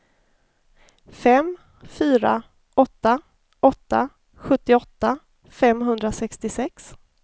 fem fyra åtta åtta sjuttioåtta femhundrasextiosex